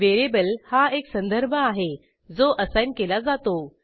variable हा एक संदर्भ आहे जो असाईन केला जातो